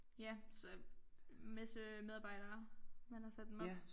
Ja så masse medarbejdere man har sat dem op